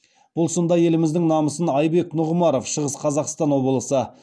бұл сында еліміздің намысын айбек нұғымаров шығыс қазақстан облысы